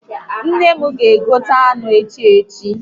Nne m ga egota anụ ehi echi